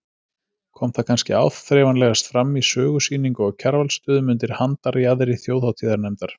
Kom það kannski áþreifanlegast fram í sögusýningu á Kjarvalsstöðum undir handarjaðri þjóðhátíðarnefndar.